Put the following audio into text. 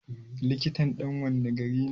Likitan ɗan wanne gari ne?